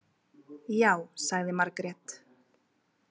Já, sagði Margrét.